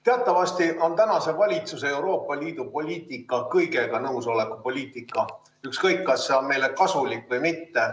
Teatavasti on tänase valitsuse Euroopa Liidu poliitika kõigega nõusolemise poliitika, ükskõik, kas see on meile kasulik või mitte.